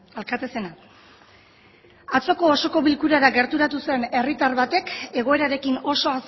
alkate zena atzoko osoko bilkurara gerturatu zen herritar batek egoerarekin oso